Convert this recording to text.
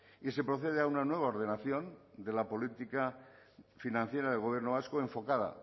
y se procede a una nueva ordenación de la política financiera del gobierno vasco enfocada